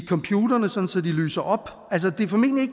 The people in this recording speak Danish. computerne det er formentlig